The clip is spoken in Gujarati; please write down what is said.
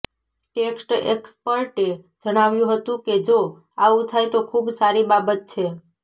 ટેક્સ એક્સપર્ટે જણાવ્યુ હતુ કે જો આવું થાય તો ખુબ સારી બાબત છે